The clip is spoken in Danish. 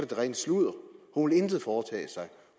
det rene sludder hun vil intet foretage sig